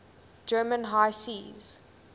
german high seas